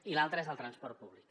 i l’altre és el transport públic